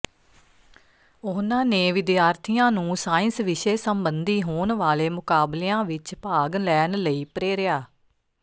ਉਹਨਾਂ ਨੇ ਵਿਦਿਆਰਥੀਆਂ ਨੂੰ ਸਾਇੰਸ ਵਿਸ਼ੇ ਸੰਬੰਧੀ ਹੋਣ ਵਾਲੇ ਮੁਕਾਬਲਿਆਂ ਵਿੱਚ ਭਾਗ ਲੈਣ ਲਈ ਪ੍ਰੇਰਿਆ